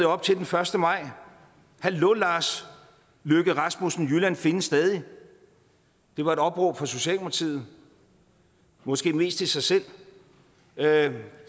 op til første maj hallo lars løkke rasmussen jylland findes stadig det var et opråb fra socialdemokratiet måske mest til sig selv